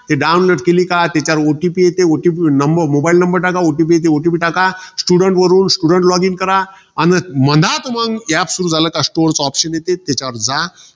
ते download केली का? त्याच्यावर OTP येते. OTP वर mobile number टाका. OTP येते OTP टाका. Student वरून student login करा. अन मनात मंग, हे App सुरु झालं का store चा opption येते. त्याच्यावर जा.